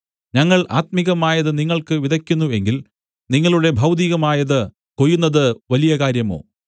ഞങ്ങൾ ആത്മികമായത് നിങ്ങൾക്ക് വിതക്കുന്നു എങ്കിൽ നിങ്ങളുടെ ഭൗതികമായത് കൊയ്യുന്നത് വലിയ കാര്യമോ